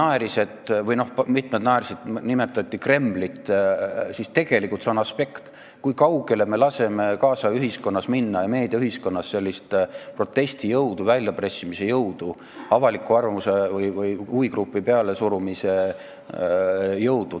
Siin mitmed naersid, kui nimetati Kremlit, aga siin on tegelikult see aspekt, kui kaugele me laseme nüüdisaja ühiskonnas, meediaühiskonnas minna sellisel protestijõul, väljapressimise jõul, avaliku arvamuse või huvigrupi pealesurumise jõul.